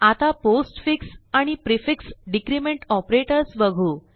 आता पोस्टफिक्स आणि prefix decrement operators बघू